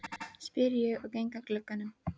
spyr ég og geng að glugganum.